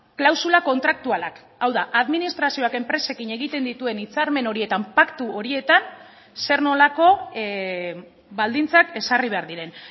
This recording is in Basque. klausula kontraktualak hau da administrazioak enpresekin egiten dituen hitzarmen horietan paktu horietan zer nolako baldintzak ezarri behar diren